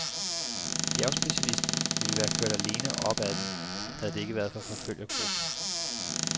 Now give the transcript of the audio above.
Bjergspecialisten ville være kørt alene op ad den, havde det ikke været for forfølgergruppen.